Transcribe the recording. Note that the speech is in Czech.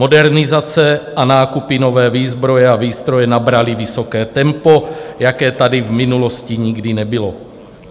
Modernizace a nákupy nové výzbroje a výstroje nabraly vysoké tempo, jaké tady v minulosti nikdy nebylo.